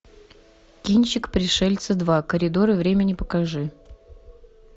кинчик пришельцы два коридоры времени покажи